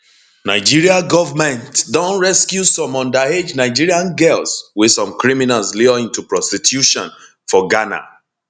nigeria goment don rescue some underage nigerian girls wey some criminals lure into prostitution for ghana